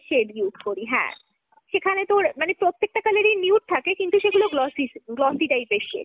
shade use করি হ্যাঁ। সেখানে তোর মানে প্রত্যেকটা colour এ nude থাকে কিন্তু সেগুলো glossy glossy type র shade।